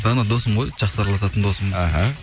дана досым ғой жақсы араласатын досым іхі